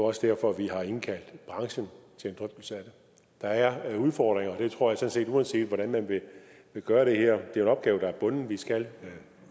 også derfor at vi har indkaldt branchen til en drøftelse af det der er udfordringer uanset hvordan man gør det her en opgave der er bundet vi skal